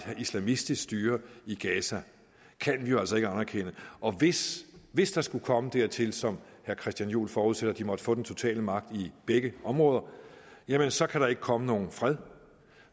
islamistisk styre i gaza kan vi jo altså ikke anerkende og hvis hvis det skulle komme dertil som herre christian juhl forudsætter at de måtte få den totale magt i begge områder jamen så kan der ikke komme nogen fred